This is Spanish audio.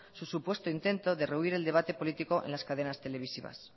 su supuesto intento de rehuir el debate político en las cadenas televisivas